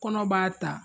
Kɔnɔ b'a ta